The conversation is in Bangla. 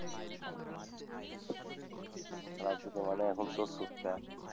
রাজনীতি মানে এখন চোর চোট্টা।